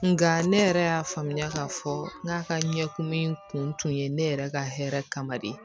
Nka ne yɛrɛ y'a faamuya k'a fɔ n k'a ka ɲɛ kumun kun ye ne yɛrɛ ka hɛrɛ kama de